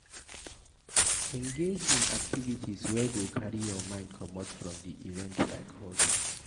Engage in activites wey go carry your mind comot from di event like hobbies